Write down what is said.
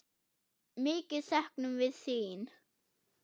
Mikið söknum við þín.